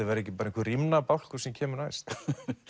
verði ekki bara einhver rímnabálkur sem kemur næst